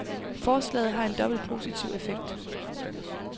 Forslaget har en dobbelt positiv effekt.